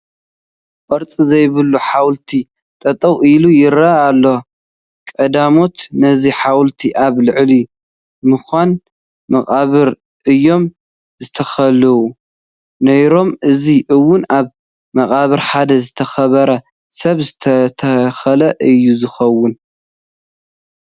ቅርፂ ዘይብሉ ሓወልቲ ጠጠው ኢሉ ይርአ ኣሎ፡፡ ቀዳሞት ነዚ ሓወልቲ ኣብ ልዕሊ መካነ መቓብር እዮም ዝተኽልዎ ነይሮም፡፡ እዚ እውን ኣብ መቓብር ሓደ ዝተኸበረ ሰብ ዝተተኸለ እዩ ዝኸውን፡፡